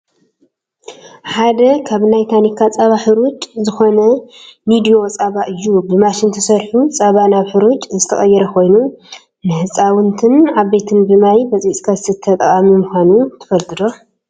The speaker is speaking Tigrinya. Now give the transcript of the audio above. ሓደ ካብ ናይ ታኒካ ፃባ ሕሩጭ ዝኮነ ኒድዮ ፃባ እዩ። ብማሽን ተሰሪሑ ፃባ ናብ ሕሩጭ ዝተቀየረ ኮይኑ፣ ንህፃውንትን ዓበይትን ብማይ በፅቢፅካ ዝስተ ጠቃሚ ምኳኑ ትፈልጡ ዶ?